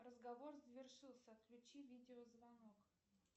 разговор завершился отключи видео звонок